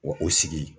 Wa o sigi